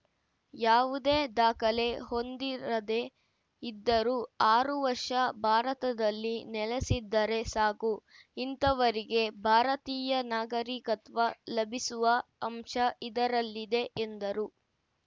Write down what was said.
ಯಾವುದೇ ದಾಖಲೆ ಹೊಂದಿರದೇ ಇದ್ದರೂ ಆರು ವರ್ಷ ಭಾರತದಲ್ಲಿ ನೆಲೆಸಿದ್ದರೆ ಸಾಕು ಇಂಥವರಿಗೆ ಭಾರತೀಯ ನಾಗರಿಕತ್ವ ಲಭಿಸುವ ಅಂಶ ಇದರಲ್ಲಿದೆ ಎಂದರು